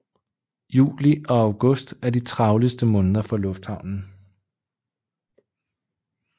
Juli og august er de travleste måneder for lufthavnen